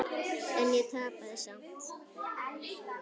En ég tapaði samt.